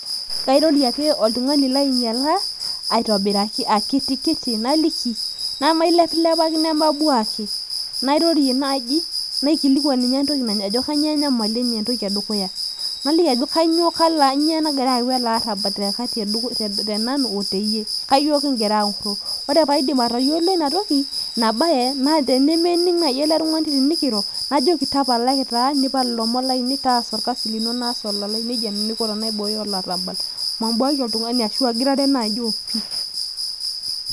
kairori ake oltung'ani lainyeal aitobiraki akiti kiti, naliki aitobiraki nemailepilepaki nemabuaki, nairorie naaji, naikilikuan ninye entoki ajo kainyiooo enyamali enye entoki edukuya, naliki ajo kainyioo nagira ayau ele arabal te nanu oteyie. kainyioo kigira aoro, ore pee aidip atayiolo ina toki, ina bae, naa tenemening' naaji ele tung'ani tenikiro, najoki tapalaki taa nipal ilomon lainei, nejia nanu aiko tenaibooyo olarabal, mabuaki ashu agirare naaji opi.